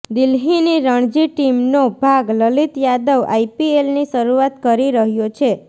દિલ્હીની રણજી ટીમનો ભાગ લલિત યાદવ આઈપીએલની શરૂઆત કરી રહ્યો છે